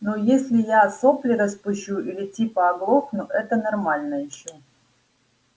ну если я сопли распущу или типа оглохну это нормально ещё